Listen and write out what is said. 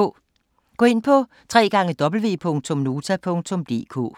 Gå ind på www.nota.dk